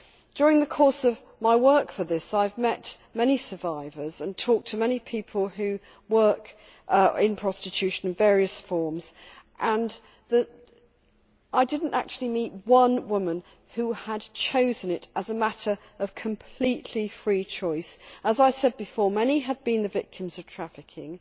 During the course of my work for this, I have met many survivors and talked to many people who work in prostitution in various forms, and I did not meet any women who had chosen it as a matter of completely free choice. As I said before, many have been the victims of trafficking.